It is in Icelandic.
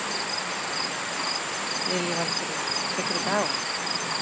Lillý Valgerður: Tekur þetta á?